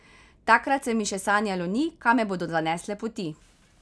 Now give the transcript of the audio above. Takrat se mi še sanjalo ni, kam me bodo zanesle poti.